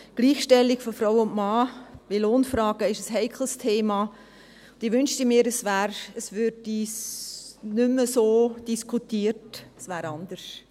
Gleichstellung von Mann und Frau in Lohnfragen ist ein heikles Thema, und ich wünschte mir, es würde nicht mehr so diskutiert, es wäre anders.